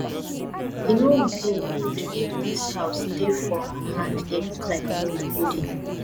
e no go good if dis house dey for our hand dey look like old building